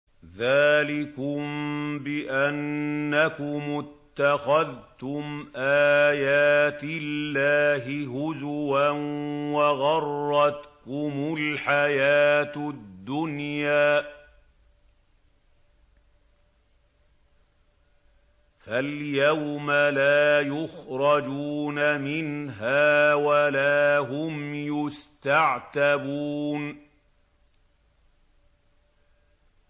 ذَٰلِكُم بِأَنَّكُمُ اتَّخَذْتُمْ آيَاتِ اللَّهِ هُزُوًا وَغَرَّتْكُمُ الْحَيَاةُ الدُّنْيَا ۚ فَالْيَوْمَ لَا يُخْرَجُونَ مِنْهَا وَلَا هُمْ يُسْتَعْتَبُونَ